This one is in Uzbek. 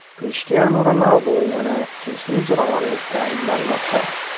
Krishtianu Ronaldu yana jinsiy zo‘ravonlikda ayblanmoqda.